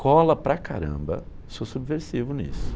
Cola para caramba, sou subversivo nisso.